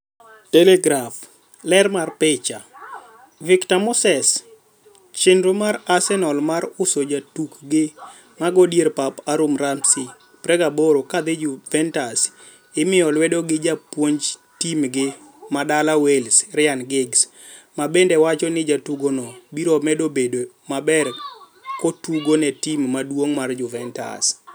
(Telegraph) Ler mar picha, Victor Moseschenro mar Arsenal mar uso jatukgi mago dier pap Aaron Ramsey, 28, kadhi Juventus imiye lwedo gi japuonj tim gi madala Wales, Ryan Giggs, mabende wacho ni jatugono biro medo bedo maber nkotugo ne tim maduong' mar Juventus.